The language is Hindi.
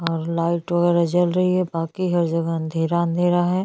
काफी सुनसान है रात का समय है।